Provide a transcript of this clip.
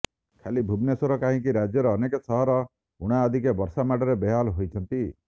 ଖାଲି ଭୁବନେଶ୍ୱର କାହିଁକି ରାଜ୍ୟର ଅନେକ ସହର ଉଣାଅଧିକେ ବର୍ଷା ମାଡରେ ବେହାଲ ହୋଇଛନ୍ତି